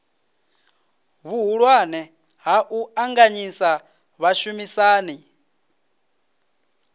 vhuhulwane ha u ṱanganyisa vhashumisani